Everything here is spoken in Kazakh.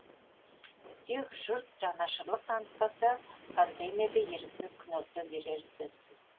тек жұрт жанашырлық танытпаса контейнерде еріксіз күнелте берері сөзсіз